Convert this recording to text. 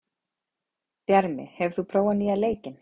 Bjarmi, hefur þú prófað nýja leikinn?